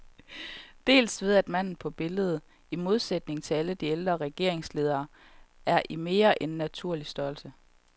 Dels ved at manden på billedet, i modsætning til alle de ældre regeringsledere, er i mere end naturlig størrelse.